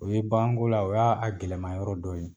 O ye bagan ko la o y'a a gɛlɛnman yɔrɔ dɔ ye.